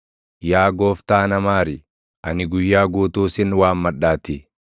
Yaa Gooftaa na maari; ani guyyaa guutuu sin waammadhaatii.